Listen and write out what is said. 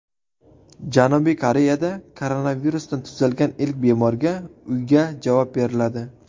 Janubiy Koreyada koronavirusdan tuzalgan ilk bemorga uyga javob beriladi.